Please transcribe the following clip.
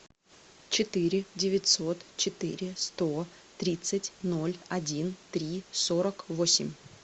четыре девятьсот четыре сто тридцать ноль один три сорок восемь